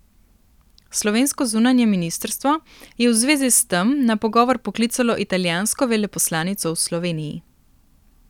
Slovensko zunanje ministrstvo je v zvezi s tem na pogovor poklicalo italijansko veleposlanico v Sloveniji.